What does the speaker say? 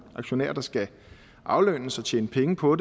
aktionærer der skal aflønnes og tjene penge på